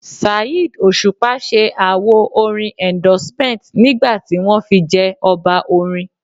Saheed Osupa ṣẹ àwo orin Endorsement nígbà tí wọ́n fi jẹ Ọba orin